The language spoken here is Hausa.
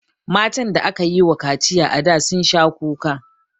Matan da aka yi wa kaciya a da sun sha kuka